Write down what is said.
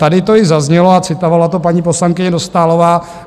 Tady to již zaznělo a citovala to paní poslankyně Dostálová.